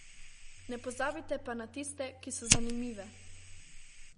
Ne pozabite pa na tiste, ki so zanimive.